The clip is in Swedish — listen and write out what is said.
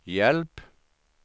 hjälp